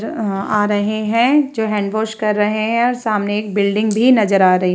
अ अ आ रहें हैं जो हैंड-वॉश कर रहें हैं और सामने एक बिल्डिंग भी नज़र आ रही --